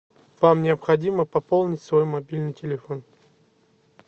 вам необходимо пополнить свой мобильный телефон